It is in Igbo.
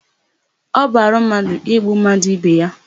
Ọ bụ arụ mmadụ igbu mmadụ ibe ya.